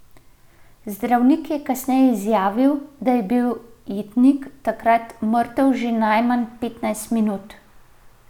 Zdravnik je kasneje izjavil, da je bil jetnik takrat mrtev že najmanj petnajst minut ...